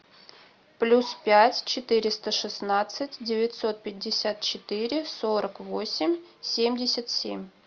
плюс пять четыреста шестнадцать девятьсот пятьдесят четыре сорок восемь семьдесят семь